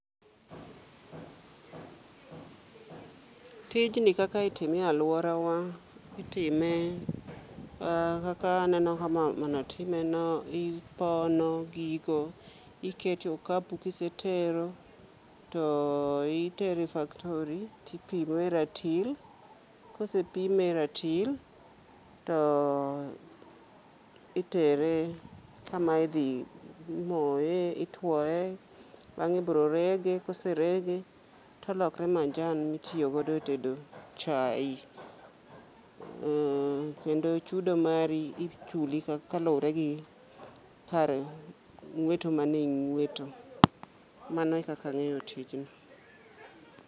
Tijni kaka itime e alworawa, itime kaka aneno ka mamano timeno. Ipono gigo, ikete okapu kisetero to itero e factory tipimo e ratil, kosepime e ratil, to itere kama idhi moye, itwoye. Bang'e ibiro rege, koserege to olokre majan mitiyo godo e tedo chai. Kendo chudo mari ichuli kalure gi kar ng'weto mane ing'weto. Mano e kaka ang'eyo tijni.